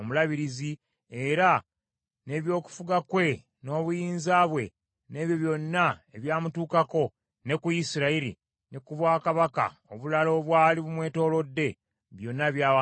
era n’eby’okufuga kwe, n’obuyinza bwe, n’ebyo byonna ebyamutuukako, ne ku Isirayiri, ne ku bwakabaka obulala obwali bumwetoolodde, byonna byawandiikibwa omwo.